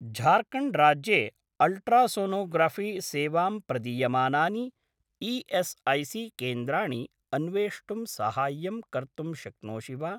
झार्खण्ड् राज्ये अल्ट्रासोनोग्राफ़ी सेवां प्रदीयमानानि ई.एस्.ऐ.सी.केन्द्राणि अन्वेष्टुं साहाय्यं कर्तुं शक्नोषि वा?